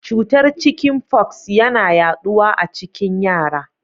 Cutar chicken pox yana yaɗuwa a cikin yara.